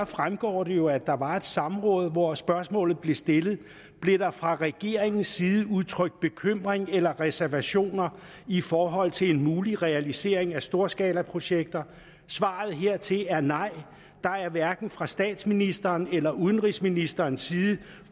fremgår det jo at der var et samråd hvor dette spørgsmål blev stillet blev der fra regeringens side udtrykt bekymring eller reservationer i forhold til en mulig realisering af storskalaprojekter svaret hertil er nej der er hverken fra statsministerens eller udenrigsministerens side